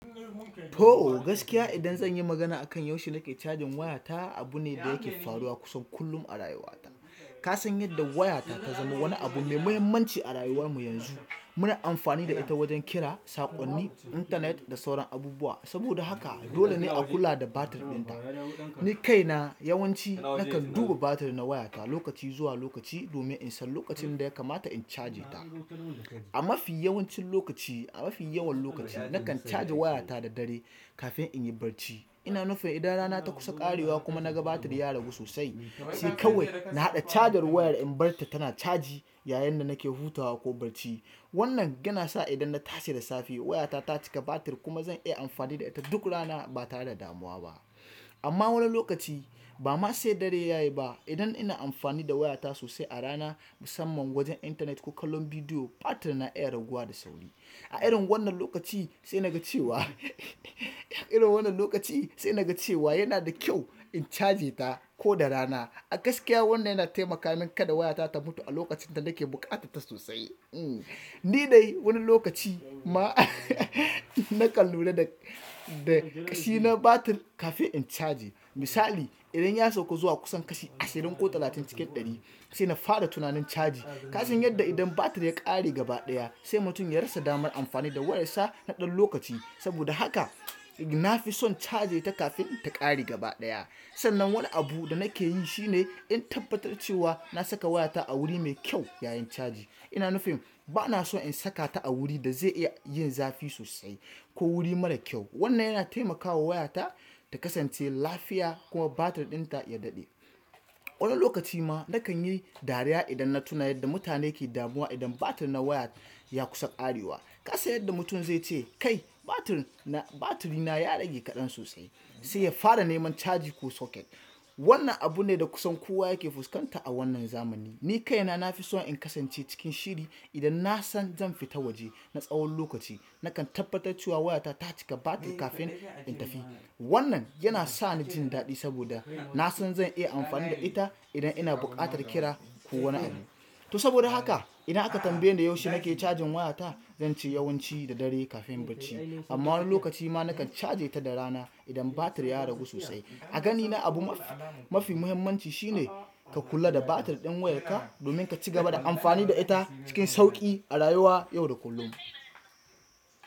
To gaskiya idan zanyi magana akan yaushe nake cajin wayata, abu ne da yake faruwa kusan kullum a rayuwata. Ka san yadda wayata ta zama wani abu mai mahimmanci a rayuwar mu yanzu. Muna amfani da ita wajen kira, saƙonni, intanet da sauran abubuwa. Saboda haka dole ne a kula da batir ɗinta. Ni kaina yawanci nakan duba batir na wayata lokaci zuwa lokaci domin in san lokacin da ya kamata in caje ta. A mafi yawancin lokaci, a mafi yawan lokaci nakan caje wayata da dare kafin in yi barci. Ina nufin idan rana ta kusa ƙarewa kuma naga batir ya ragu sosai, sai kawai na haɗa cajar wayar in barta tana caji yayin da nake hutawa ko barci. Wannan yana sa idan na tashi da safe wayata ta cika batir kuma zan iya amfani da ita duk rana batare da damuwa ba. Amma wani lokaci bama sai dare yayi ba idan ina amfani da wayata sosai a rana musamman wajen intanet ko kallon bidiyo batir na iya raguwa da sauri. A irin wannan lokaci sai naga cewa a irin wannan lokaci sai naga cewa yana da kyau in caje ta koda rana. A gaskiya wannan yana taimaka min kada wayata ta mutu a lokacin da nake buƙatar ta sosai. Hmm ni dai wani lokaci ma nakan lura da, da ƙashi na batir kafin in caje. Misali idan ya sauko zuwa kusan kashi ashirin ko talatin cikin ɗari sai na fara tunanin caji. Ka san yadda idan batir ya ƙare gabaɗaya sai mutum ya rasa damar amfani da wayarsa na ɗan lokaci. Saboda haka na fi son caje ta kafin ta ƙare gabaɗaya. Sannan wani abu da nakeyi shine in tabbatar cewa nasaka wayata a wuri mai kyau yayin caji ina nufin banaso in sakata a wuri da zai iya yin zafi sosai ko wuri mara kyau. Wannan yana taimakawa wayata ta kasance lafiya kuma batir ɗinta ya daɗe. Wani lokaci ma nakan yi dariya idan na tuna yadda mutane ke damuwa idan batir na wayar ya kusa ƙarewa. Ka san yadda mutum zai ce "kai batir na, batir na ya rage kaɗan sosai" sai ya fara neman caji ko soket. Wannan abu ne da kusan kowa yake fuskanta a wannan zamani. Ni kaina nafi so in kasance cikin shiri idan nasan zan fita waje na tsawon lokaci. Nakan tabbatar cewa wayata ta cika batir kafin in tafi. Wannan yana sani jin daɗi saboda nasan zan iya amfani da ita idan ina buƙatar amfani da ita ko wani abu to saboda haka idan tambaye ni yaushe kake cajin wayata zance da dare kafin bacci amma wani lokaci ma nakan caje ta da rana idan batir ya ragu sosai. A ganina abu mafi, mafi muhimmanci shine ka kula da batir ɗin wayarka domin ka cigaba da amfani da ita cikin sauƙi a rayuwa yau da kullum.